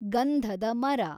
ಗಂಧಧ ಮರ